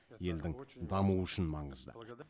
елдің дамуы үшін маңызды